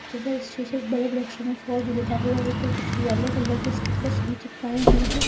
तथा इस शीशे पर बड़े बड़े अक्षर में फोर जी लिखा हुआ उपर कुछ येलो कलर के स्टीकर भी चिपकाए हुआ है।